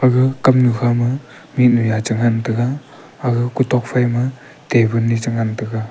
aga kamnu kha ma mihnu yacha ngan taiga aga ku tok phaima table ni chu ngan taiga.